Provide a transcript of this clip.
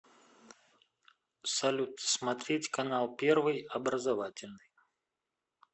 салют смотреть канал первый образовательный